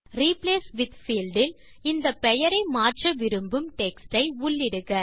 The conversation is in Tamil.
ரிப்ளேஸ் வித் பீல்ட் இல் இந்த பெயரை மாற்ற விரும்பும் டெக்ஸ்ட் ஐ உள்ளிடுக